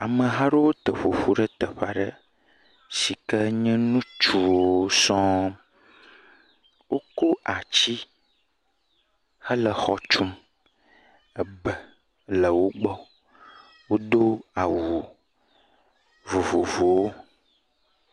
Ame hã aɖe teƒoƒu ɖe teƒe aɖe si wònye ŋutsuwo sɔ̃Wokɔ ati hele exɔ tum. Egbe le wogbɔ. Wo do awu vovovowo.